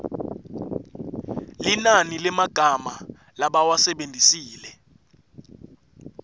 linani lemagama labawasebentisile